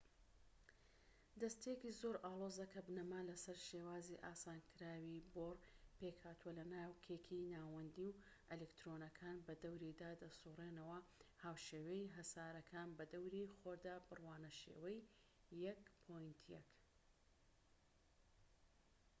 دەستەیەکی زۆر ئاڵۆزە کە بنەما لەسەر شێوازی ئاسانکراوی بۆر، پێکهاتووە لە ناوکێکی ناوەندی و ئەلیکترۆنەکان بەدەوریدا دەسوڕێنەوە هاوشێوەی هەسارەکان بە دەوری خۆردا، بڕوانە شێوەی ١.١